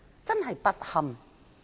真是不堪！